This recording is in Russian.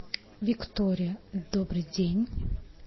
виктория добрый день